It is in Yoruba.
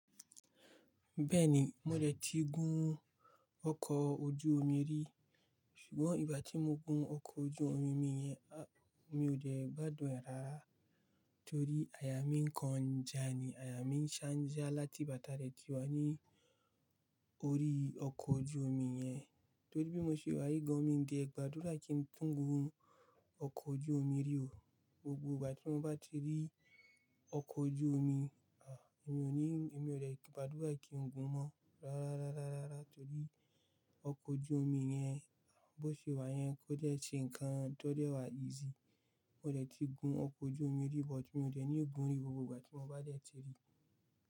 Bẹ́ẹ̀ni, mo dẹ̀ ti gun ọkọ̀ ojú omi rí ṣùgbọ́n ìgbà tí mo gun ọkọ̀ ojú omi mi yẹn, a, mi ò dẹ̀ gbádùn ẹ̀ rárá torí àyà mí n kanjà ni, àyà mí n ṣánjà láti bàtà rẹ ti wà ní orí ọkọ̀ ojú omi yẹn. Torí bí mo ṣe wà, gan míi dẹ̀ gbàdúrà kí n túń gun ọkọ̀ ojú omi rí o. Gbogbo ìgbà tí mo bá ti rí ọkọ̀ ojú omi, a, èmi ò ní, èmi ò dẹ̀ gbádúrà kí n gun mọ́ rárá rárá rárá torí ọkọ̀ ojú omi yẹn bó ṣe wà yẹn, kò dẹ̀ ṣe nǹkan tó dẹ̀ wà easy. Mo dẹ̀ ti gun ọkọ̀ ojú omi rí bọ̀tí mi ò dẹ̀ ní gun rí gbogbo ìgbà tí mo bá dẹ̀ ti rí i.